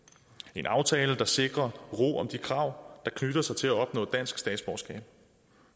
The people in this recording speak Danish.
en aftale der sikrer ro om de krav der knytter sig til at opnå dansk statsborgerskab